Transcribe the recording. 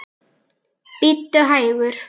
Bíddu hægur.